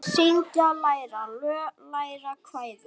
Syngja- læra lög- læra kvæði